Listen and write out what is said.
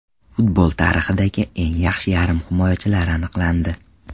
Futbol tarixidagi eng yaxshi yarim himoyachilar aniqlandi.